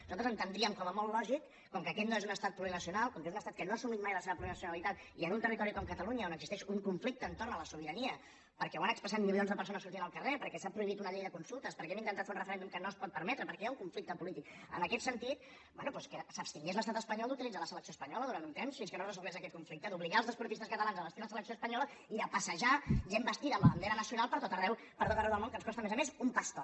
nosaltres entendríem com a molt lògic com que aquest no és un estat plurinacional com que és un estat que no ha assumit mai la seva plurinacionalitat i en un territori com catalunya on existeix un conflicte entorn de la sobirania perquè ho han expressat milions de persones sortint al carrer perquè s’ha prohibit una llei de consultes perquè hem intentat fer un referèndum que no es pot permetre perquè hi ha un conflicte polític en aquest sentit bé doncs que s’abstingués l’estat espanyol d’utilitzar la selecció espanyola durant un temps fins que no es resolgués aquest conflicte d’obligar els esportistes catalans a abastir la selecció espanyola i de passejar gent vestida amb la bandera nacional per tot arreu del món que ens costa a més a més un paston